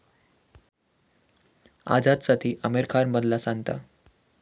आझादसाठी आमिर खान बनला सांता!